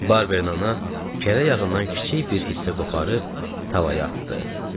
Barberin ana kərə yağından kiçik bir hissə qoparıb tavaya atdı.